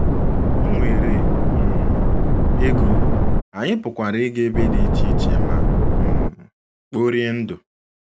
O nweere um ego, anyị pụkwara ịga ebe dị iche iche ma um kporie ndụ.